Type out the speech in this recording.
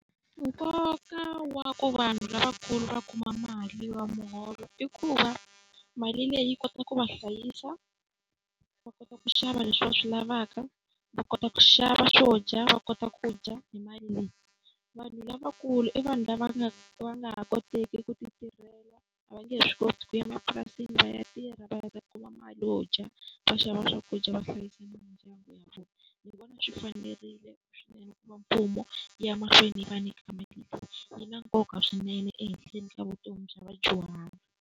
Nkoka wa ku vanhu lavakulu va kuma mali ya muholo i ku va mali leyi yi kota ku va hlayisa, va kota ku xava leswi va swi lavaka, va kota ku xava swo dya va kota ku dya hi mali leyi. Vanhu lavakulu i vanhu lava nga va nga ha koteki ku ti tirhela, a va nge he swi koti ku ya mapurasini va ya tirha va ta kuma mali yo dya, va xava swakudya, va hlayisa mindyangu ya vona. Ni vona swi fanerile swinene ku va mfumo wu ya mahlweni yi va nyika mali, yi na nkoka swinene ehenhla ni ka vutomi bya vadyuhari.